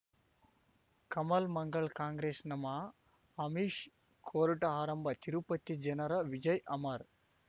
ಕಮಲ್ ಮಂಗಳ್ ಕಾಂಗ್ರೆಸ್ ನಮಃ ಅಮಿಷ್ ಕೋರ್ಟ್ ಆರಂಭ ತಿರುಪತಿ ಜನರ ವಿಜಯ್ ಅಮರ್